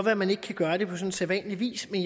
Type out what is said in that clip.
at man ikke kan gøre det på sådan sædvanlig vis men